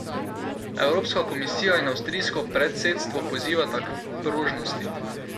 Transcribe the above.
Evropska komisija in avstrijsko predsedstvo pozivata k prožnosti.